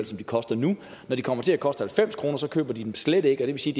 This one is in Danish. som det koster nu når de kommer til at koste halvfems kr så køber de dem slet ikke og det vil sige